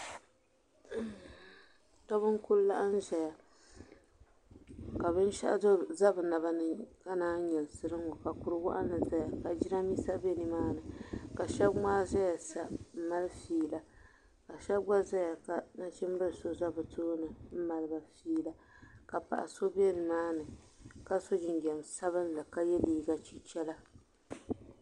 Shɛba n ku laɣim ʒɛya ka binshaɣu za bi naba ni naan yi nyɛlisira n ŋɔ ka kurugu waɣinli zaya ka jiranbiisa bɛ ni maa ni ka shɛba ŋmaa zaya sa n mali fiila ka shɛba gba zaya ka nachinbili so za bi tooni n mali ba fiila ka paɣa so bɛ di maa ni ka so jinjam sabinli ka yɛ liiga chichara.